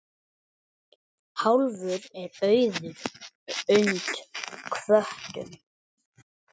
Hálfur er auður und hvötum.